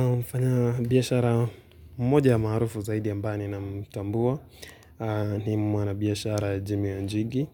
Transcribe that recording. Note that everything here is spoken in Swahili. Nimefanya biashara mmoja marufu zaidi ambayo ninamtambua ni mwanabiashara Jimmy Wanjigi